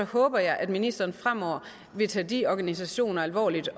håber jeg at ministeren fremover vil tage de organisationer alvorligt